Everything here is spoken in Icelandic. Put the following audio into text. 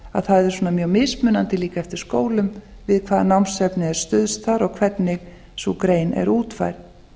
að það er mjög mismunandi eftir skólum við hvaða námsefni er stuðst þar og hvernig sú grein er útfærð